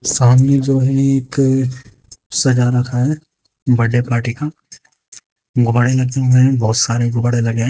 सामने जो है एक सजा रखा है बड्डे पार्टी का गुब्बाड़े रखे हुए है बोहत सारे गुबारे लगे है।